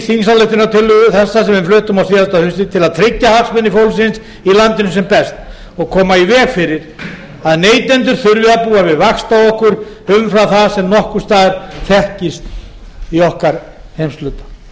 þingsályktunartillögu þessa sem við fluttum á síðasta hausti til að tryggja hagsmuni fólksins í landinu sem best og koma í veg fyrir að neytendur þurfi að búa við vaxtaokur umfram það sem nokkurs staðar þekkist í okkar heimshluta